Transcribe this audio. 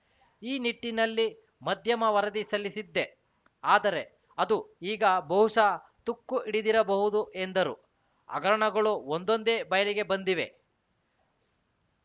ಈ ನಿಟ್ಟಿನಲ್ಲಿ ಮಧ್ಯಮ ವರದಿ ಸಲ್ಲಿಸಿದ್ದೆ ಆದರೆ ಅದು ಈಗ ಬಹುಶಃ ತುಕ್ಕುಹಿಡಿದಿರಬಹುದು ಎಂದರು ಹಗರಣಗಳು ಒಂದೊಂದೇ ಬಯಲಿಗೆ ಬಂದಿವೆ